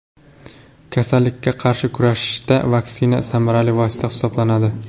Kasallikka qarshi kurashda vaksina samarali vosita hisoblanadi.